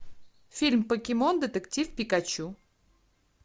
фильм покемон детектив пикачу